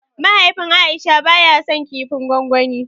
Mahaifin aisha ba ya san kifin gwangwani